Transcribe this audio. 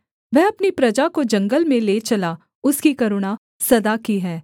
वह अपनी प्रजा को जंगल में ले चला उसकी करुणा सदा की है